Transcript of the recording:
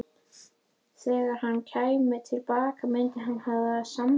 Þegar hann kæmi til baka myndi hann hafa samband.